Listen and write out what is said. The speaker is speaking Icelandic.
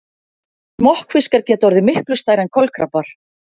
Smokkfiskar geta orðið miklu stærri en kolkrabbar.